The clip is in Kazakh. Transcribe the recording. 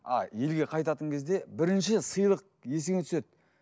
а елге қайтатын кезде бірінші сыйлық есіңе түседі